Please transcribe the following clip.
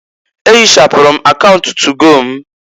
E hịchapụrụ m akaunt tugo m.